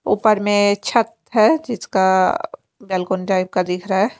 उपर में छत है जिसका गेल्कुन टाइप का दिखरा है।